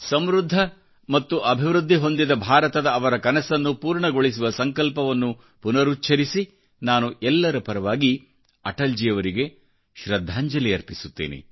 ಸಮೃದ್ಧ ಮತ್ತು ಅಭಿವೃದ್ಧಿ ಹೊಂದಿದ ಭಾರತದ ಅವರ ಕನಸನ್ನು ಪೂರ್ಣಗೊಳಿಸುವ ಸಂಕಲ್ಪವನ್ನುಪುನರುಚ್ಛರಿಸಿ ನಾನು ಎಲ್ಲರ ಪರವಾಗಿ ಅಟಲ್ಜಿಯವರಿಗೆ ಶೃದ್ಧಾಂಜಲಿ ಅರ್ಪಿಸುತ್ತೇನೆ